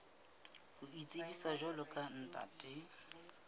ho itsebisa jwalo ka ntate